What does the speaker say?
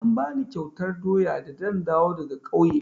An bani kyautar doya da zan dawo daga ƙauye.